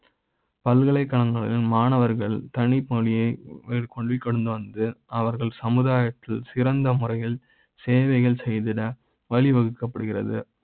பல்கலைக்கழக ங்களில் மாணவர்கள் தனி மொழி யை கடந்து மேற்கொண்டு வந்து அவர்கள் சமுதாய த்தில் சிறந்த முறையில் சேவைகள் செய்திட வழி வகுக்க ப்படுகிறது